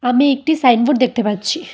আমি একটি সাইনবোর্ড দেখতে পাচ্ছি।